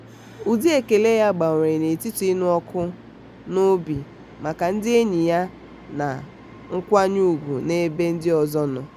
ụdị ekele ya gbanwere n'etiti ịnụ ọkụ n'obi maka ndị enyi ya na nkwanye ugwu n'ebe ndị ọzọ nọ.